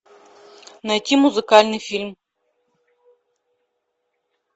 найти музыкальный фильм